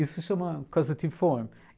Isso se chama causative form.